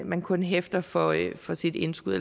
man kun hæfter for for sit indskud